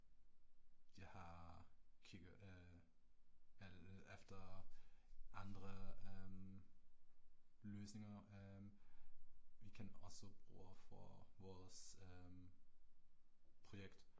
At jeg har kigget øh eh efter andre øh løsninger øh vi kan også bruge for vores projekt